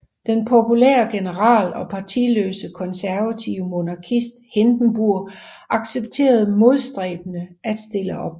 Den populære general og partiløse konservative monarkist Hindenburg accepterede modstræbende at stille op